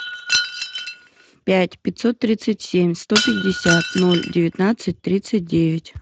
пять пятьсот тридцать семь сто пятьдесят ноль девятнадцать тридцать девять